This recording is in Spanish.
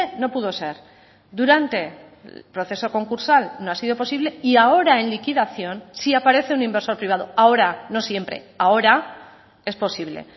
no pudo ser durante el proceso concursal no ha sido posible y ahora en liquidación si aparece un inversor privado ahora no siempre ahora es posible